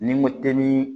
Ni n ko tɛ ni